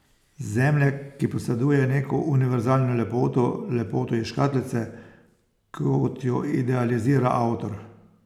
Zemlje, ki poseduje neko univerzalno lepoto, lepoto iz škatlice, kot jo idealizira avtor.